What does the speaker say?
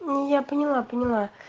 я поняла поняла